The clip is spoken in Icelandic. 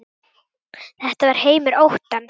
Þetta var heimur óttans.